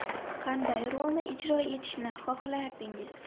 Qanday rolni ijro etishni xohlardingiz?